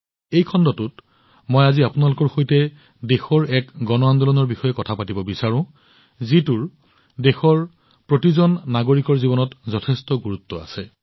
এই খণ্ডটোত মই আজি আপোনাৰ সৈতে দেশৰ এক গণ আন্দোলনৰ বিষয়ে কথা পাতিব বিচাৰো যত দেশৰ প্ৰতিজন নাগৰিকৰ জীৱনত যথেষ্ট গুৰুত্ব আছে